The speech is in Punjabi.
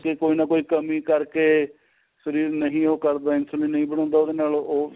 ਕੋਈ ਨਾ ਕੋਈ ਕਮੀ ਕਰਕੇ ਸਰੀਰ ਨਹੀਂ ਉਹ ਕਰਦਾ insulin ਨਹੀਂ ਬਣਾਉਂਦਾ ਉਹਦੇ ਨਾਲ ਉਹ